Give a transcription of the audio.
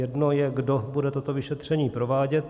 Jedno je, kdo bude toto vyšetření provádět.